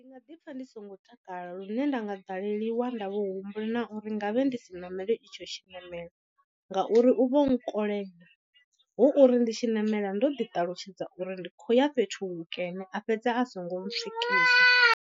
Ndi nga ḓi pfha ndi songo takala lune nda nga ḓaleliwa nda vho humbula na uri nga vhe ndi si ṋamele itsho tshiṋamelo. Ngauri u vho nkolela hu uri ndi tshi ṋamela ndo ḓi ṱalutshedza uri ndi khou ya fhethu hukene a fhedza a songo ntswikisa.